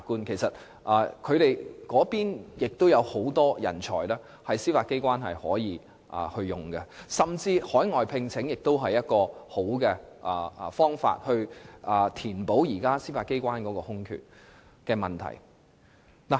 在事務律師中亦有很多人才，司法機關可任用，而海外聘請也是不錯的方法，可以填補現時司法機關的空缺。